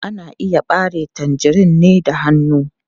Ana iya ɓare tangerine da hannu.